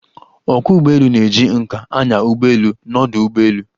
Ókwọ́ ụgbọelu na-eji nká anya ụgbọelu n'ọdu ụgbọelu.